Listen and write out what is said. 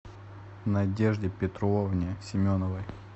надежде петровне семеновой